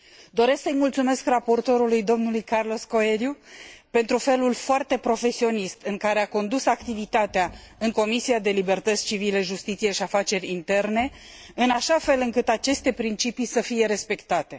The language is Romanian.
Doresc să i mulțumesc raportorului, dlui Carlos Coelho, pentru felul foarte profesionist în care a condus activitatea în Comisia pentru libertăți civile, justiție și afaceri interne, în așa fel încât aceste principii să fie respectate.